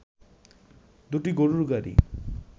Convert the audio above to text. দুটি গরুর গাড়ি